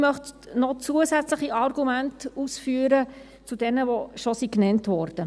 – Ich möchte noch zusätzliche Argumente zu den bereits genannten ausführen.